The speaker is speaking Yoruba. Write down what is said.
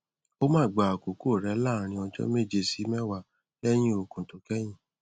ó máa gba àkókò rẹ láàárín ọjọ méje sí mẹwàá lẹyìn òògùn tó kẹyìn